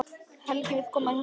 Helgi vill koma í Hörpuna